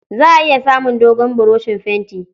Za a iya samun dogon buroshin fenti.